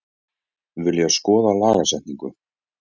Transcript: Vilja skoða lagasetningu